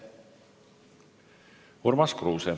Urmas Kruuse.